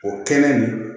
O kɛnɛ nin